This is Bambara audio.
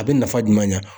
A bɛ nafa jumɛn ɲa